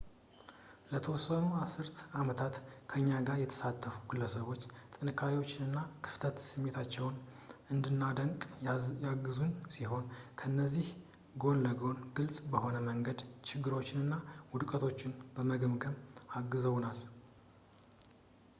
ለተወሰኑ አስርተ አመታት ከእኛ ጋር የተሳተፉ ግለሰቦች ጥንካሬዎቻችንንና ከፍተኛ ስሜቶቻችንን እንድናደንቅ ያገዙን ሲሆን ከዚህ ጎን ለጎንም ግልፅ በሆነ መንገድም ችግሮችንና ውድቀቶችን በመገምገምም አግዘውናል